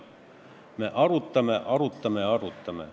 Me arutame, arutame ja arutame.